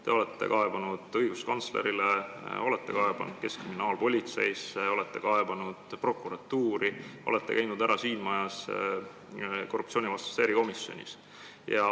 Te olete kaevanud õiguskantslerile, olete kaevanud keskkriminaalpolitseisse, olete kaevanud prokuratuuri, olete käinud siin majas korruptsioonivastases erikomisjonis.